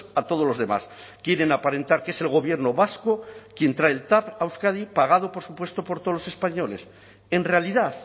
a todos los demás quieren aparentar que es el gobierno vasco quien trae el tav a euskadi pagado por supuesto por todos los españoles en realidad